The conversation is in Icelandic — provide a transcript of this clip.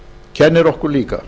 kennir okkur líka